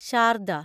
Sharda